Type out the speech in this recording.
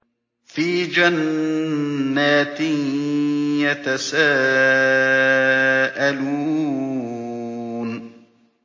فِي جَنَّاتٍ يَتَسَاءَلُونَ